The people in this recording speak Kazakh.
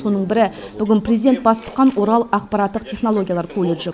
соның бірі президент бас сұққан орал ақпараттық технологиялар колледжі